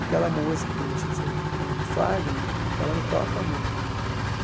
Aquela música, que não deixa de ser poema do Fagner, ela me toca muito.